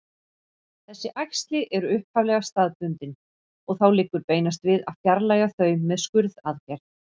Þessi æxli eru upphaflega staðbundin og þá liggur beinast við að fjarlægja þau með skurðaðgerð.